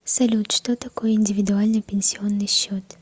салют что такое индивидуальный пенсионный счет